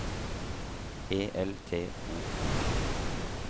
E L T O N